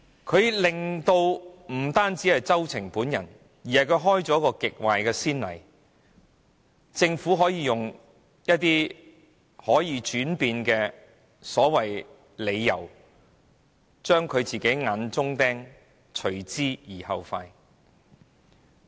政府不單令周庭喪失參選資格，也開了極壞的先例，令政府可使用可以轉變的理由，務求將政府的眼中釘除之而後快。